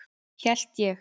Hélt ég.